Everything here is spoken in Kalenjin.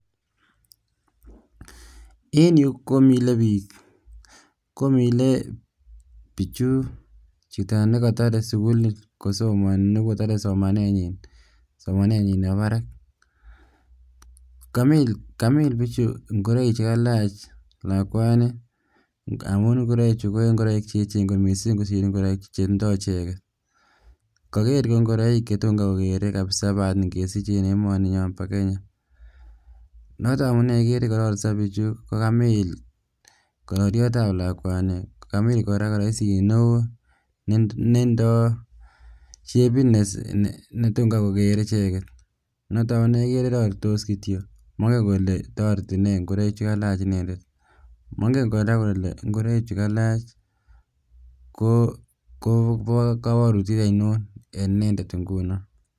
En yuu komilebik, komilee bichuu chito nekotore sukul kosomoni nekotore somanenyin, somanenyin nebo barak , kamiil bichu ing'oroik chekalach lakwani ng'amun ing'oroi chuu ko ing'oroik cheechen kot mising kosir ing'oroik chetindo icheket, kokere ing'oroik chetom kai kokere kabisaa baat King'esich en emoninyon bo Kenya, noton amunee ikere kororiso bichuu ko kamiil kororiotab lakwani kokamil kora kiroisit neoo netindo shebit netom kaii kokere icheket, noton konekere roritos kityok mong'en Kole toreti nee ng'oroik chekalach inendet, mong'en kora kolee ing'oroichu kalach koboo koboutiet ainon en inendet ing'unon.